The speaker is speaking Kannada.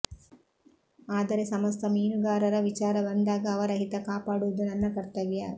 ಆದರೆ ಸಮಸ್ತ ಮೀನುಗಾರರ ವಿಚಾರ ಬಂದಾಗ ಅವರ ಹಿತ ಕಾಪಾಡುವುದು ನನ್ನ ಕರ್ತವ್ಯ